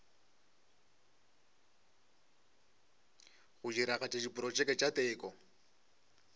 go diragatša diprotšeke tša teko